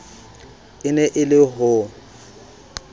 e ne e le ho